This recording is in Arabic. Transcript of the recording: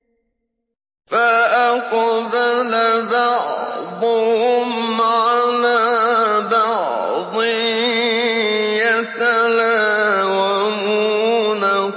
فَأَقْبَلَ بَعْضُهُمْ عَلَىٰ بَعْضٍ يَتَلَاوَمُونَ